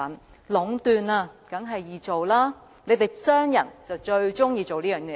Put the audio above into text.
在壟斷下，生意當然易做，你們這些商人就最喜歡這做法。